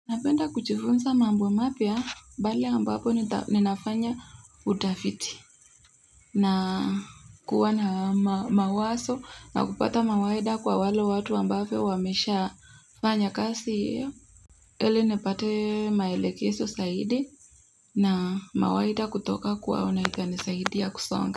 Napenda kujifunza mambo mapya pale ambapo ninafanya utafiti na kuwa na mawazo na kupata mawaidha kwa wale watu ambapo wameshafanya kazi hio ili nipate maelekezo zaidi na mawaidha kutoka kwao na itanisaidia kusonga.